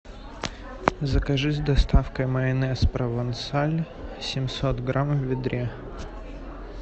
закажи с доставкой майонез провансаль семьсот грамм в ведре